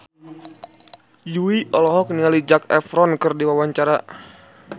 Jui olohok ningali Zac Efron keur diwawancara